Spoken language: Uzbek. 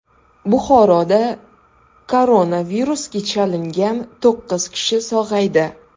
Buxoroda koronavirusga chalingan to‘qqiz kishi sog‘aydi.